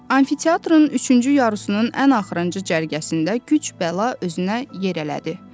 Amfiteatrın üçüncü yarusunun ən axırıncı cərgəsində güc bəla özünə yer elədi.